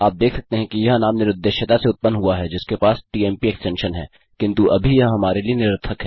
आप देख सकते हैं यह नाम निरुद्देश्यता से उत्पन्न हुआ है जिसके पास टीएमपी एक्स्टेंशन है किन्तु अभी यह हमारे लिए निरर्थक है